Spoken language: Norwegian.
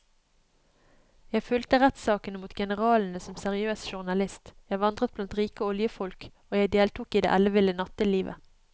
Jeg fulgte rettssakene mot generalene som seriøs journalist, jeg vandret blant rike oljefolk og jeg deltok i det elleville nattelivet.